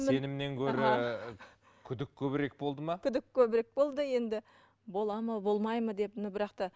сенімнен гөрі күдік көбірек болды ма күдік көбірек болды енді болады ма болмайды ма деп но бірақ та